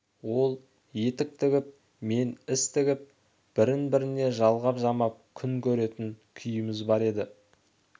ол етік тігіп мен іс тігіп бірін біріне жалғап-жамап күн көретін күйіміз бар еді